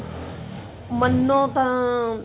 ਮੰਨੋ ਤਾਂ